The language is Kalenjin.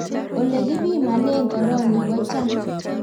ole kipimane corona ko chang